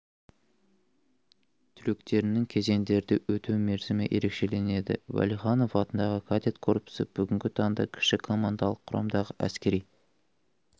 түлектерінің кезеңдерді өту мерзімі ерекшеленеді уәлиханов атындағы кадет корпусы бүгінгі таңда кіші командалық құрамдағы әскери